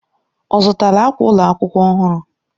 Ọ zụtala akwa ụlọ akwụkwọ ọhụrụ?